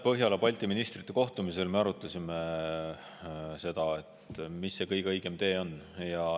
Põhjala-Balti ministrite kohtumisel me arutasime, mis oleks kõige õigem tee.